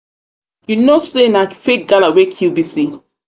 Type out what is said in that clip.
you no know say na fake say na fake gala wey kill bisi.